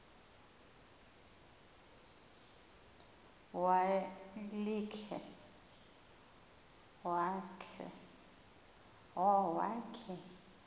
wa l khe